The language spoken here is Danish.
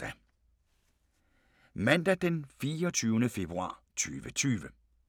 Mandag d. 24. februar 2020